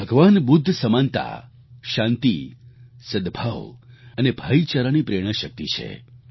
ભગવાન બુદ્ધ સમાનતા શાંતિ સદભાવ અને ભાઈચારાની પ્રેરણા શક્તિ છે